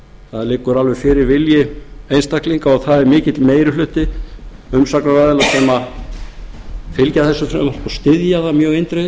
það liggur alveg fyrir vilji einstaklinga og það er mikill meiri hluti umsagnaraðila sem fylgir þessu frumvarpi og styður það mjög eindregið